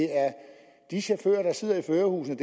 i chauffører der sidder i førerhusene